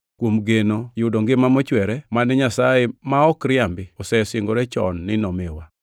kuom geno yudo ngima mochwere, mane Nyasaye, ma ok riambi osesingore chon ni nomiwa.